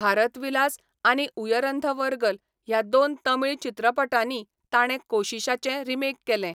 भारतविलास' आनी 'उयरंधवर्गल' ह्या दोन तमिळ चित्रपटांनी ताणें कोशीशाचें रिमेक केलें.